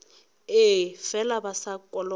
ee fela ba sa kolota